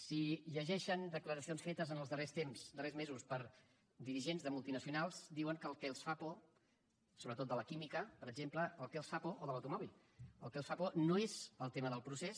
si llegeixen declaracions fetes en els darrers temps darrers mesos per dirigents de multinacionals diuen que el que els fa por sobretot de la química per exemple o de l’automòbil no és el tema del procés